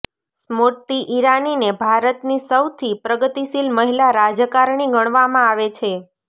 સ્મૃતિ ઈરાનીને ભારતની સૌથી પ્રગતિશીલ મહિલા રાજકારણી ગણવામાં આવે છે